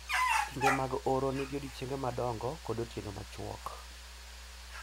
Kinde mag oro nigi odiechienge madongo kod otieno machuok.